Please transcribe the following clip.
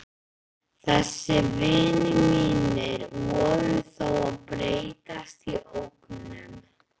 Þessir vinir mínir voru þó að breytast í ógnun.